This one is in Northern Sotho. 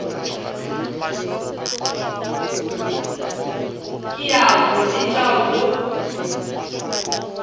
ke a o letša wo